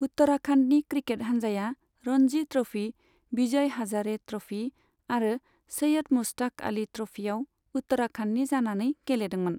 उत्तराखन्डनि cricket हान्जाया Ranji trophy, Vijay Hazare trophy आरो सैयद मुश्ताक आली ट्र'फीआव उत्तराखन्डनि जानानै गेलेदोंमोन।